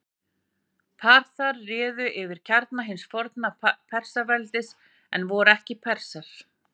Parþar réðu yfir kjarna hins forna Persaveldis en voru ekki Persar.